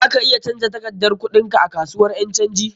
Za ka iya canja takardar kuɗin ka a kasuwan ƴan canji.